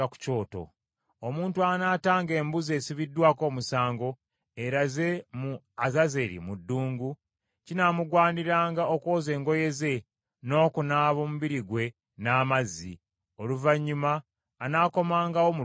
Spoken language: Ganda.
“Omusajja anaatanga embuzi esibiddwako omusango, eraze mu Azazeri mu ddungu, kinaamugwaniranga okwoza engoye ze n’okunaaba omubiri gwe n’amazzi; oluvannyuma anaakomangawo mu lusiisira.